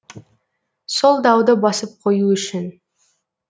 сол дауды басып қою үшін